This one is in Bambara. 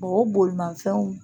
O bolimanfɛnw